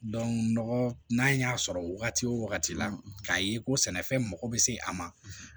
nɔgɔ n'a y'a sɔrɔ wagati o wagati la k'a ye ko sɛnɛfɛn mago bɛ se a ma